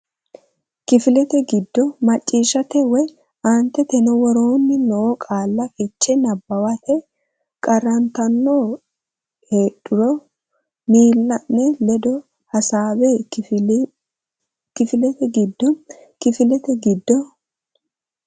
Kifilete giddo macciishshate woy Aanteteno woroonni noo qaalla fiche nabbawate qarrantanno heedhuro miilla ne ledo hasaabbe Kifilete giddo Kifilete giddo.